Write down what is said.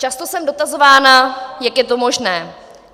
Často jsem dotazována, jak je to možné.